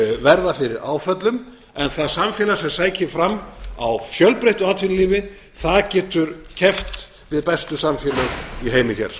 verða fyrir áföllum en það samfélag sem sækir fram á fjölbreyttu atvinnulífi getur keppt við bestu samfélög í heimi hér